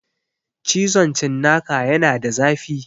Cizon cinnaka yana da zafi